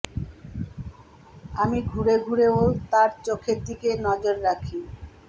আমি ঘুরে ঘুরে ও তার চোখের দিকে নজর রাখি